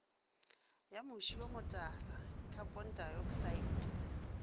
ya moši o motala khapontaeoksaete